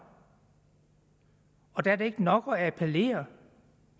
og der er det ikke nok at appellere